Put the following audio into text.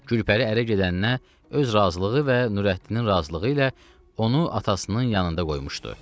Gülpəri ərə gedəndə öz razılığı və Nürəddinin razılığı ilə onu atasının yanında qoymuşdu.